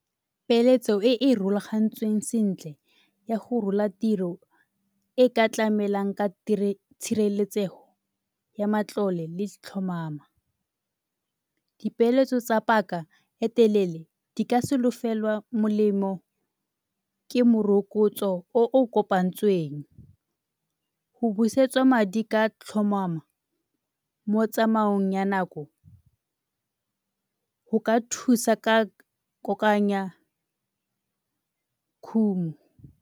Peeletso e e rulagantsweng sentle ya go rola tiro e ka tlamelang ka tshireletsego ya matlole le tlhomamo. Dipeeletso tsa paka e telele di ka solofelwa molemo ke morokotso o o kopantsweng. Go busetswa madi ka tlhomamo mo tsamaong ya nako go ka thusa ka kokoanya khumo.